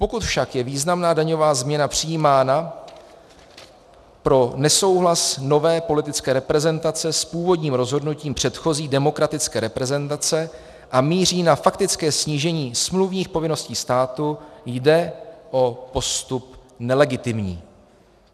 Pokud však je významná daňová změna přijímána pro nesouhlas nové politické reprezentace s původním rozhodnutím předchozí demokratické reprezentace a míří na faktické snížení smluvních povinností státu, jde o postup nelegitimní.